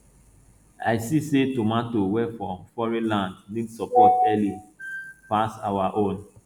i see say tomato wey from foreign land need support early pass our own